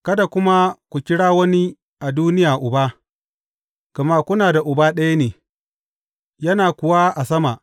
Kada kuma ku kira wani a duniya uba,’ gama kuna da Uba ɗaya ne, yana kuwa a sama.